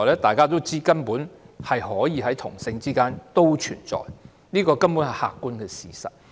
大家都知道根本可以在同性之間存在，這是客觀的事實。